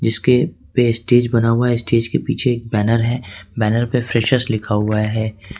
इसके पे स्टेज बना हुआ स्टेज के पीछे एक बैनर है बैनर पे फ्रेशर्स लिखा हुआ है।